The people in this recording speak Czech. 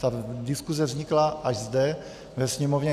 Ta diskuse vznikla až zde ve Sněmovně.